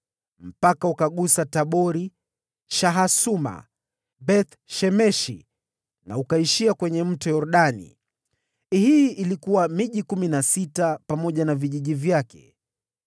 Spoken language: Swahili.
Mpaka ule ukagusa Tabori, Shahasuma na Beth-Shemeshi, na ukaishia kwenye Yordani. Ilikuwa miji kumi na sita, pamoja na vijiji vyake.